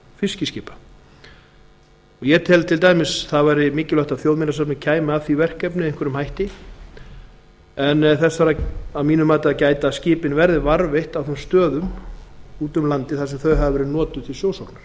að varðveislu fiskiskipa til dæmis væri mikilvægt að þjóðminjasafnið kæmi að því verkefni að varðveita fiskiskip en þess þarf að gæta að skipin verði varðveitt á þeim stöðum víða um landið þar